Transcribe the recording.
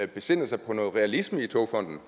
besinde sig på noget realisme i togfonden